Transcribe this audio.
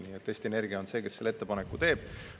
Nii et Eesti Energia on see, kes selle ettepaneku teeb.